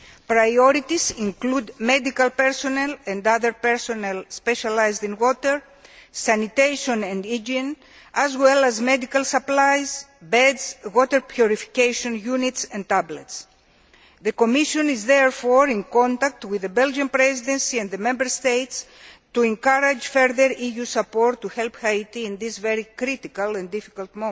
Priorities include medical personnel and other personnel specialised in water, sanitation and hygiene, as well as medical supplies, beds, water purification units and tablets. The Commission is therefore in contact with the Belgian Presidency and the Member States to encourage further EU support to help Haiti at this very critical and difficult